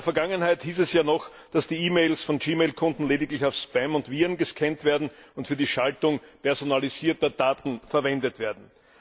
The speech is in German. In der Vergangenheit hieß es ja noch, dass die E Mails von gmail Konten lediglich auf Spam und Viren gescannt werden und für die Schaltung personalisierter Daten verwendet werden.